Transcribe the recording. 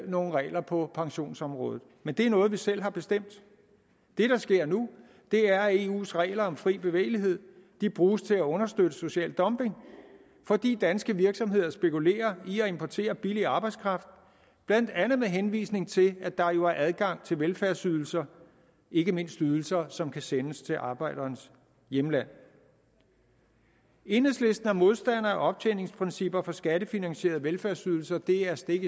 nogle regler på pensionsområdet men det er noget vi selv har bestemt det der sker nu er at eus regler om fri bevægelighed bruges til at understøtte social dumping fordi danske virksomheder spekulerer i at importere billig arbejdskraft blandt andet med henvisning til at der jo er adgang til velfærdsydelser ikke mindst ydelser som kan sendes til arbejderens hjemland enhedslisten er modstander af optjeningsprincipper for skattefinansierede velfærdsydelser det er stik